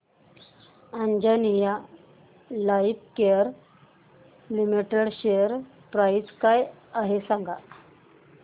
Anjaneya lifecare limited share price काय आहे सांगा